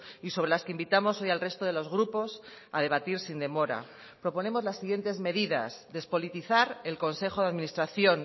y sobre las que invitamos hoy al resto de los grupos a debatir sin demora proponemos las siguientes medidas despolitizar el consejo de administración